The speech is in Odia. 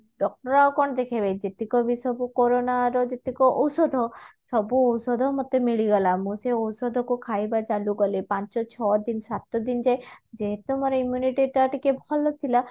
ଦେଖେଇବ ଯେତିକ ବି ସବୁ କୋରୋନା ର ଯେତିକ ଔଷଧ ସବୁ ଔଷଧ ମେତ ମିଳିଗଲା ମୁଁ ସେ ଔଷଧ କୁ ଖାଇବା ଚାଲୁକଲି ପାଞ୍ଚ ଛଅ ଦିନ ସାତ ଦିନ ଯାଏ ଯେହେତୁ ମୋର immunity ଟା ଟିକେ ଭଲ ଥିଲା